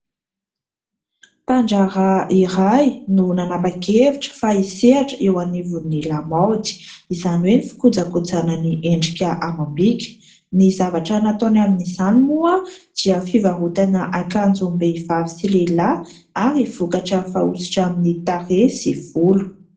Mpandraharaha iray no nanapa-kevitra fa isehatra eo anivon'ny lamaody, izany hoe fikojakojana ny endrika amam-bika. Ny zavatra nataony amin'izany moa dia fivarotana akanjom-behivavy sy lehilahy ary vokatra fanosotra amin'ny tarehy sy volo.